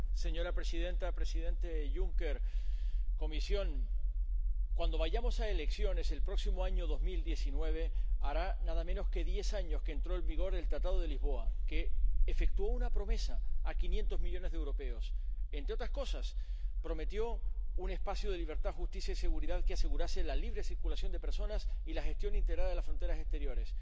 Señora presidenta, presidente Juncker, cuando vayamos a elecciones el próximo año 2019, hará nada menos que diez años que entró en vigor el Tratado de Lisboa, que efectuó una promesa a 500 millones de europeos entre otras cosas, prometió un espacio de libertad, seguridad y justicia que asegurase la libre circulación de personas y la gestión integrada de las fronteras exteriores.